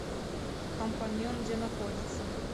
компаньон где находится